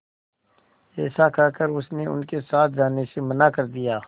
ऐसा कहकर उसने उनके साथ जाने से मना कर दिया